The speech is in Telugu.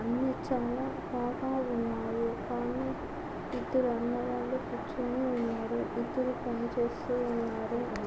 అన్నీ చాలా బాగా ఉన్నాయి కానీ ఇద్ధరు అన్న వాళ్ళు కూర్చుని ఉన్నారు ఇద్దరు పని చేస్తూ ఉన్నారు .